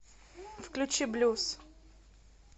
включи блюз